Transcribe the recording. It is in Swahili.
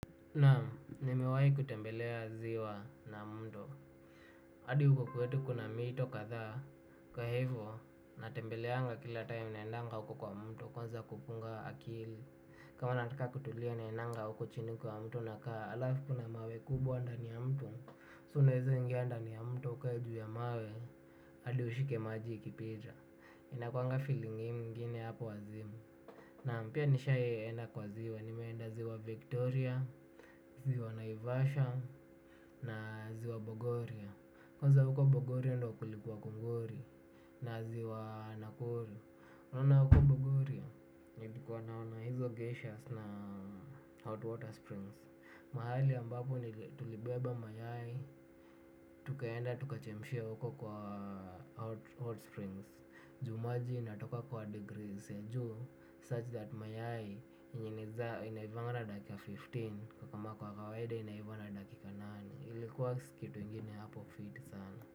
Naamu, nimewayi kutembelea ziwa na mto. Adi hukukuetu kuna mito katha. Kwa hivo, natembeleanga kila time naendanga uko kwa mto. Kuanza kupunga akili. Kama nataka kutulia naendanga uko chini kwa mto. Naka alafu kuna mawe kubwa ndani ya mto. So naeza ingia ndani ya mto. Ukae juu ya mawe. Adi ushike maji ikipita. Inakuanga feeling ingine hapo wazimu. Naam, pia nishaienda kwa ziwa. Nimeenda ziwa Victoria. Ziwa Naivasha na ziwa Bogoria kwanza huko Bogoria ndio kulikuwa kungori na ziwa Nakuru unaona huko Bogoria nilikuwa naona hizo geshers na hot water springs mahali ambapo tulibeba mayai tukaenda tukachemshia huko kwa hot springs juu maji inatoka kwa degrees such that mayai inaivanga na dakika kumi na tano. Kwa kama kwa kawaida inaiva na dakika nane. Ilikuwa kitu ingine hapo fiti sana.